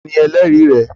Tani ẹlẹri rẹ?